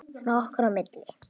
Svona okkar á milli.